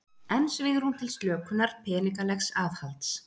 Enn svigrúm til slökunar peningalegs aðhalds